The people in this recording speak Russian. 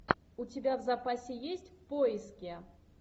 у тебя в запасе есть в поиске